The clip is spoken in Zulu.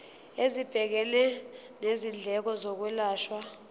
esibhekene nezindleko zokwelashwa